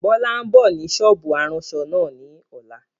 Bọlá ń bọ̀ ni sọ́ọ́bù aránṣọ náà ni ọ̀la